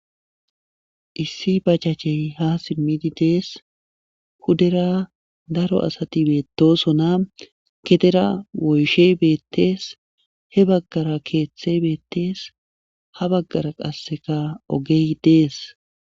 Issi bachachey ha simmidi dees hudera daro asati beettosona gedera woyshe beettees he baggara keeththe beettees ha baggara qasseka ogey dees.